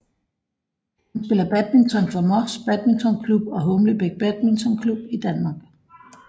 Han spiller badminton for Moss badmintonklubb og Humlebæk badmintonklub i Danmark